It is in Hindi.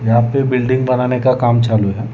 यहां पे बिल्डिंग बनाने का काम चालू है।